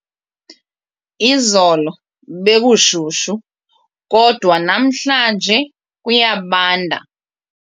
Izolo bekushushu kodwa namhlanje kuyabanda.